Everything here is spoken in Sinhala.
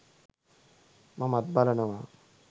මමත් බලනවා.